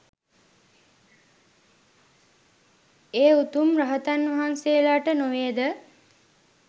ඒ උතුම් රහතන් වහන්සේලාට නොවේද?